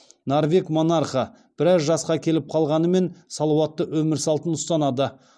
норвег монархы біраз жасқа келіп қалғанымен салауатты өмір салтын ұстанады